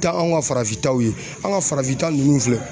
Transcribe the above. Taa anw ka farafin taw ye an ka farafinta ninnu filɛ